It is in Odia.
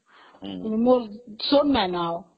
ହଁ